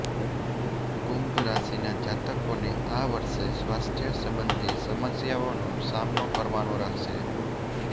કુંભ રાશિના જાતકોને આ વર્ષે સ્વાસ્થ્ય સંબંધી સમસ્યાઓનો સામનો કરવાનો રહેશે